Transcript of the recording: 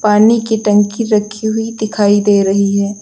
पानी की टंकी रखी हुई दिखाई दे रही है।